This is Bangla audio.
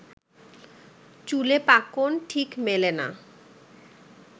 চুলে পাকন, ঠিক মেলে না